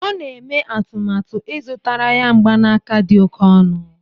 Ọ na-eme atụmatụ ịzụtara ya mgbanaka dị oke ọnụ